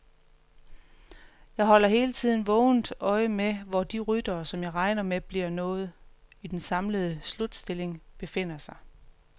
Jeg holder hele tiden vågent øje med, hvor de ryttere, som jeg regner med bliver noget i den samlede slutstilling, befinder sig.